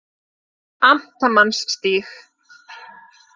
Amtmannsstíg